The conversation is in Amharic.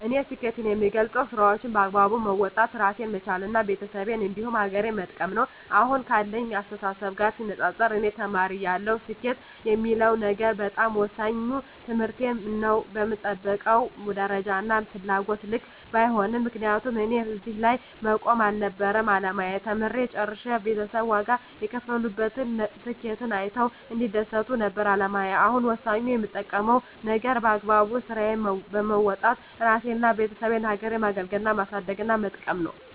እኔ ስኬትን የምገልፀው ስራዎቸን በአግባቡ መወጣት እራሴን መቻል እና ቤተሰቤን እንዲሁም ሀገሬን መጥቀም ነው። አሁን ካለኝ አስተሳሰብ ጋር ሲነፃፀር እኔ ተማሪ እያለሁ ስኬት የምለው ነገር በጣም ወሳኙ ትምህርቴን ነው በምጠብቀው ደረጃና ፍላጎቴ ልክ ባይሄድም ምክንያቱም እኔ እዚህ ላይ መቆም አልነበረም አላማዬ ተምሬ ጨርሸ ቤተሰብ ዋጋ የከፈሉበትን ስኬቴን አይተው እንዲደሰቱ ነበር አላማዬ አሁን ወሳኙ የምጠብቀው ነገር በአግባቡ ስራዬን በወጣት እራሴንና የቤተሰቤን ሀገሬን ማገልገልና ማሳደግና መጥቀም ነው።